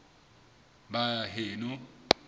baheno